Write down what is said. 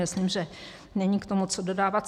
Myslím, že není k tomu co dodávat.